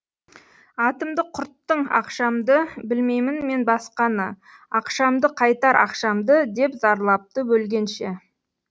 атымды құрттың ақшамды білмеймін мен басқаны ақшамды қайтар ақшамды деп зарлапты өлгенше